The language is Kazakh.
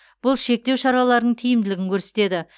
бұл шектеу шараларын тиімділігін көрсетеді